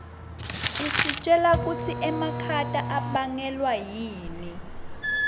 isitjela kutsi makhata abangelwa yini